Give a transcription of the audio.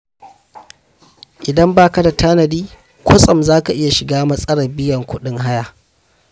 Idan ba ka da tanadi, kwatsam za ka iya shiga matsalar biyan kuɗin haya.